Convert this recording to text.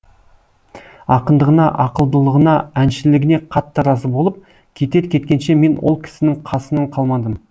ақындығына ақылдылығына әншілігіне қатты разы болып кетер кеткенше мен ол кісінің қасынан қалмадым